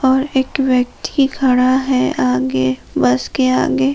और एक व्यक्ति खड़ा है आगे बस के आगे।